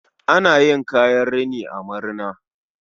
Ana yin kayan rini a marina